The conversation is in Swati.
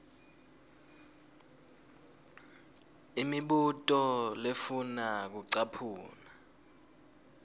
imibuto lefuna kucaphuna